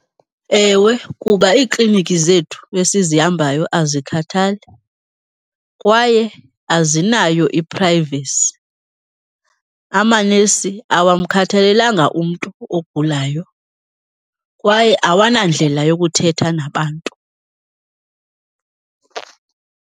Ewe, kuba iiklinikhi zethu esizihambayo azikhathali kwaye azinayo i-privacy. Amanesi awamkhathalelanga umntu ogulayo kwaye awanandlela yokuthetha nabantu.